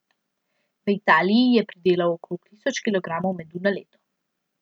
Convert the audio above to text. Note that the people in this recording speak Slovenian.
V Italiji je pridelal okoli tisoč kilogramov medu na leto.